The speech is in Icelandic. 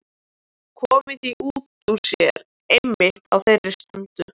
Komið því út úr sér einmitt á þeirri stundu.